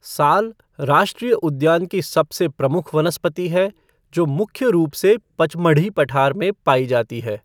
साल राष्ट्रीय उद्यान की सबसे प्रमुख वनस्पति है जो मुख्य रूप से पचमढ़ी पठार में पाई जाती है।